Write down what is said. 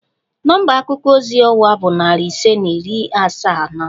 Nọmba akuko ozi ọwa bụ narị ise na iri asaa na anọ